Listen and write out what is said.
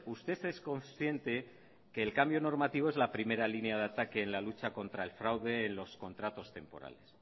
usted es consciente que el cambio normativo es la primera línea de ataque en la lucha contra el fraude en los contratos temporales